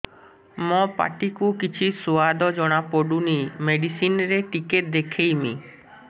ମୋ ପାଟି କୁ କିଛି ସୁଆଦ ଜଣାପଡ଼ୁନି ମେଡିସିନ ରେ ଟିକେ ଦେଖେଇମି